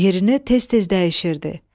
Yerini tez-tez dəyişirdi.